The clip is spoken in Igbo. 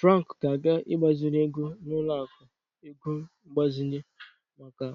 Frank ga-aga igbaziri ego n'ọlụaku ego mgbazinye maka